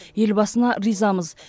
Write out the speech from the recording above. елбасына ризамыз